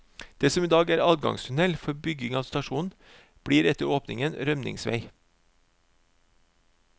Det som i dag er anleggstunnel for bygging av stasjonen, blir etter åpningen rømningsvei.